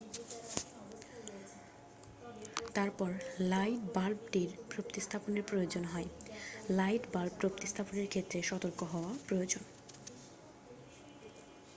তারপর লাইট বাল্বটি প্রতিস্থাপনের প্রয়োজন হয় লাইট বাল্ব প্রতিস্থাপনের ক্ষেত্রে সতর্ক হওয়া প্রয়োজন